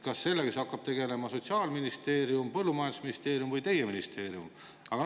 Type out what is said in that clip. Kas sellega hakkab tegelema Sotsiaalministeerium, põllumajandusministeerium või teie ministeerium?